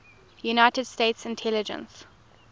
united states intelligence